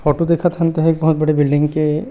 photo देखत हन ते ह बहुत बड़े बिल्डिंग के--